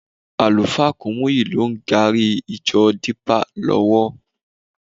Àlùfáà Kúmúyì ló ń gààrí ìjọ Dípà lọ́wọ́.